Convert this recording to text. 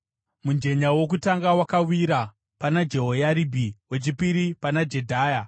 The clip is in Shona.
Mujenya wokutanga wakawira pana Jehoyaribhi, wechipiri pana Jedhaya,